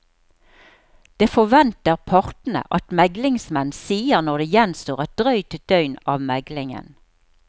Det forventer partene at meglingsmenn sier når det gjenstår et drøyt døgn av meglingen.